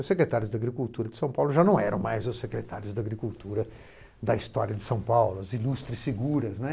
Os secretários da agricultura de São Paulo já não eram mais os secretários da agricultura da história de São Paulo, as ilustres figura, né.